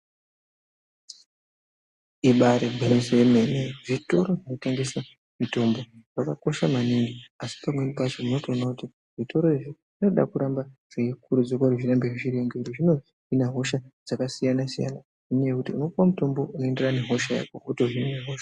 Ibaari gwinyiso yemene zvitoro zvinotengese mitombo zvakakosha maningi. Asi pamweni pacho unotoona kuti zvitoro izvi zvinoda kuramba zveikurudzirwa kuti zvirambe zvine mbiri. Zvinohina hosha dzakasiyana-siyana nenyaya yekuti unopuwa mutombo unoenderana nehosha yako, wotohine hosha.